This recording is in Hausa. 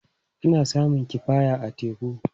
Ana samun kifaye a teku.